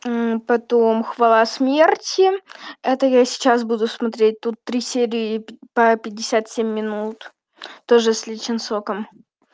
потом хвала смерти это я сейчас буду смотреть тут три серии по пятьдесят семь минут тоже с ли чон соком